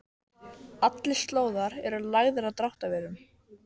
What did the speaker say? Þar að auki er England auðvitað helsti markaðurinn fyrir fiskinn.